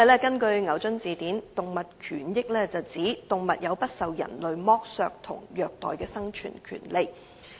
根據牛津字典，"動物權益"是指動物有不受人類剝削和虐待的生存權利。